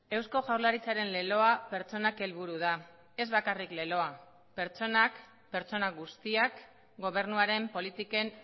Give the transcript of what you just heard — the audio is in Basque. eusko jaurlaritzaren leloa pertsonak helburu da ez bakarrik leloa pertsonak pertsona guztiak gobernuaren politiken